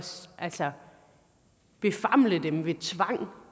altså befamle dem ved tvang og